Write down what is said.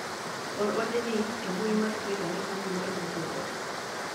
or ote ni e mbui mar twita ne kambi mar microsoft